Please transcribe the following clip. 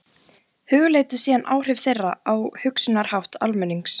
Hugleiddu síðan áhrif þeirra á hugsunarhátt almennings.